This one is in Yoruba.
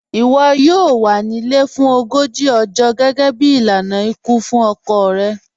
Iwọ yọọ wà ní ilẹ̀ fún ọgọ́jì ọ̀jọ̀ gẹgẹ̀bí ilànà ikú fún ọkọ̀ rẹ̀.